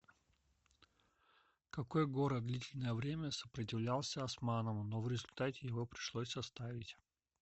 какой город длительное время сопротивлялся османам но в результате его пришлось оставить